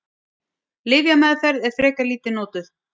Lyfjameðferð er frekar lítið notuð.